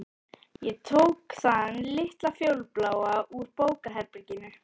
Ég tók þann litla fjólubláa úr bókaherberginu.